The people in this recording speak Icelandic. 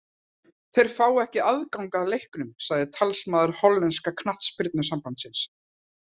Þeir fá ekki aðgang að leiknum, sagði talsmaður hollenska knattspyrnusambandsins.